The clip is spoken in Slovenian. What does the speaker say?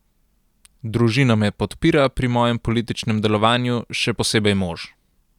Družina me podpira pri mojem političnem delovanju, še posebej mož.